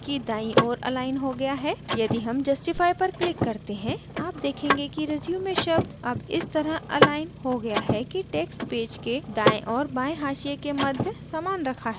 यदि हम justify पर click करते हैं आप देखेंगे कि resume शब्द अब इस तरह अलाइन हो गया है कि text पेज के दायें और बायें हाशिये के मध्य समान रखा है